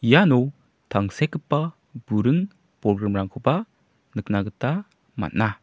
iano tangsekgipa buring bolgrimrangkoba nikna gita man·a.